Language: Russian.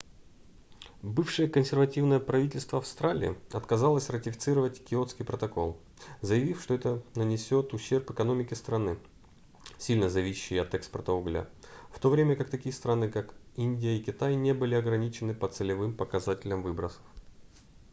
бывшее консервативное правительство австралии отказалось ратифицировать киотский протокол заявив что это нанесёт ущерб экономике страны сильно зависящей от экспорта угля в то время как такие страны как индия и китай не были ограничены по целевым показателям выбросов